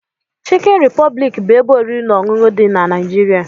Chikin Republic bu ebe oriri na ọṅụṅụ di nq Naijiria.